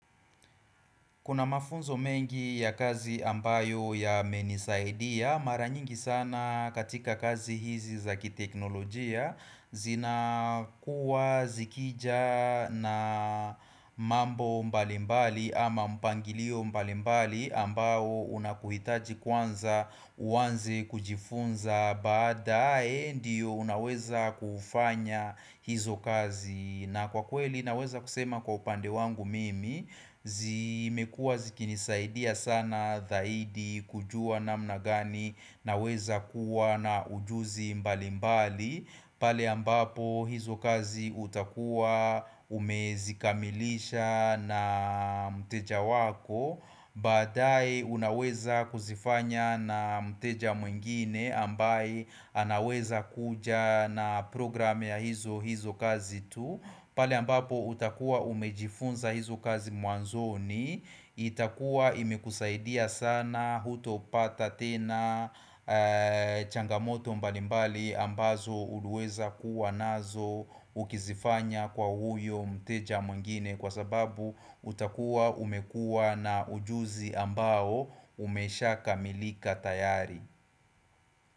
Kuna mafunzo mengi ya kazi ambayo yamenisaidia, mara nyingi sana katika kazi hizi za kiteknolojia zinakuwa zikija na mambo mbalimbali ama mpangilio mbalimbali ambayo unakuhitaji kwanza uwanze kujifunza baadae ndio unaweza kufanya hizo kazi. Na kwa kweli naweza kusema kwa upande wangu mimi zimekua zikinisaidia sana zaidi kujua namna gani naweza kuwa na ujuzi mbali mbali pale ambapo hizo kazi utakua umezikamilisha na mteja wako Baadae unaweza kuzifanya na mteja mwingine ambaye anaweza kuja na program ya hizo kazi tu Pali ambapo utakuwa umejifunza hizo kazi mwanzoni itakuwa imekusaidia sana hutopata tena changamoto mbalimbali ambazo uliweza kuwa nazo ukizifanya kwa huyo mteja mwengine kwa sababu utakuwa umekua na ujuzi ambao umeshakamilika tayari.